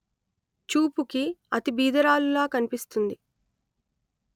చూపుకి అతి బీదరాలులా కనిపిస్తుంది